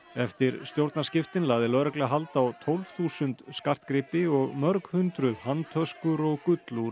eftir stjórnarskiptin lagði lögregla hald á tólf þúsund skartgripi og mörg hundruð handtöskur og